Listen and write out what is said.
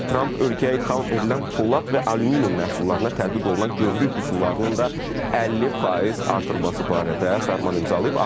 Tramp ölkəyə idxal edilən polad və alüminium məhsullarına tətbiq olunan gömrük rüsumlarının da 50% artırılması barədə fərman imzalayıb.